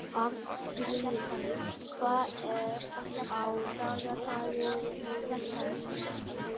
Arnfríður, hvað er á dagatalinu mínu í dag?